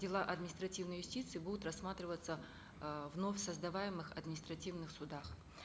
дела административной юстиции будут рассматриваться э в вновь создаваемых административных судах